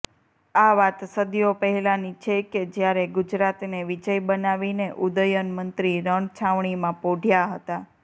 આ વાત સદીઓ પહેલાની છે કે જ્યારે ગુજરાતને વિજય બનાવીને ઉદયન મંત્રી રણછાવણીમાં પોઢ્યા હતા